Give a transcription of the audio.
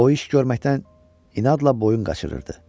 O iş görməkdən inadla boyun qaçırırdı.